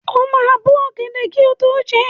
O máa bó ọ̀gẹ̀dẹ̀ kí o tó jẹ ẹ́.